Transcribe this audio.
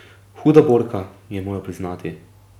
Huda borka, je moral priznati.